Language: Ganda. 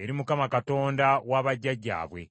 eri Mukama Katonda wa bajjajjaabwe.